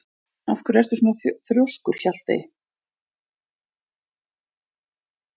Af hverju ertu svona þrjóskur, Hjaltey?